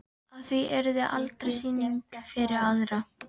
Að í því yrði aldrei sýning fyrir aðra.